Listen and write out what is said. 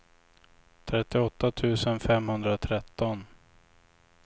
trettioåtta tusen femhundratretton